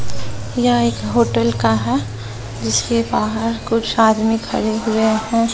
यह एक होटल का है जिसके बाहर कुछ आदमी खड़े हुए हैं।